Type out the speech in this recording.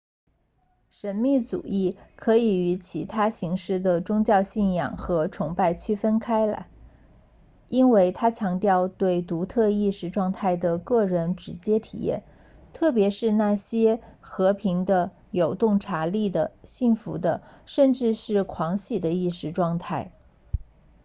神秘主义可以与其他形式的宗教信仰和崇拜区分开来因为它强调对独特意识状态的个人直接体验特别是那些和平的有洞察力的幸福的甚至是狂喜的意识状态